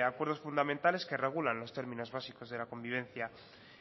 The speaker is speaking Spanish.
acuerdos fundamentales que regulan los términos básicos de la convivencia